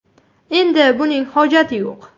Endi buning hojati yo‘q.